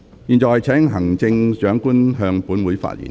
現在請行政長官先向本會發言。